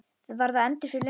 Var það endur fyrir löngu?